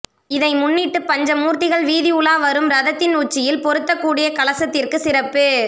இதை முன்னிட்டு பஞ்ச மூர்த்திகள் வீதி உலா வரும் ரதத்தின் உச்சியில் பொருத்தக்கூடிய கலசத்திற்கு சிறப்பு